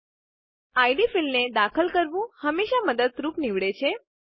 ID field ID ક્ષેત્રને દાખલ કરવું હંમેશા મદદરૂપ નીવડે છે